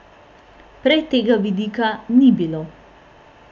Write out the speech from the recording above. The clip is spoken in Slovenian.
Prej tega vidika ni bilo.